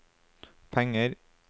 penger